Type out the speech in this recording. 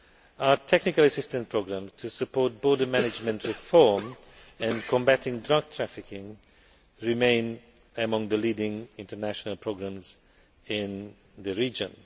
Our technical assistance programme to support border management reform and combating drug trafficking remain among the leading international programmes in the region.